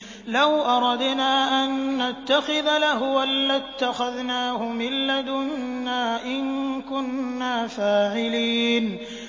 لَوْ أَرَدْنَا أَن نَّتَّخِذَ لَهْوًا لَّاتَّخَذْنَاهُ مِن لَّدُنَّا إِن كُنَّا فَاعِلِينَ